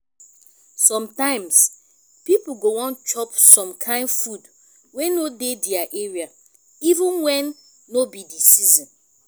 sometimes pipo go wan chop some kind food wey no dey their area even when no be di season